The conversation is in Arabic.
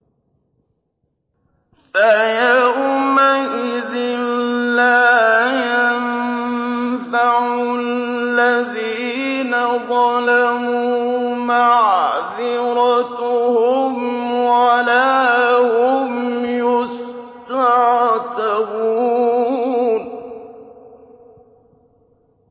فَيَوْمَئِذٍ لَّا يَنفَعُ الَّذِينَ ظَلَمُوا مَعْذِرَتُهُمْ وَلَا هُمْ يُسْتَعْتَبُونَ